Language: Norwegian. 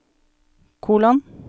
kolon